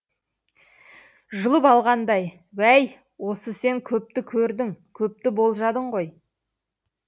жұлып алғандай уәй осы сен көпті көрдің көпті болжадың ғой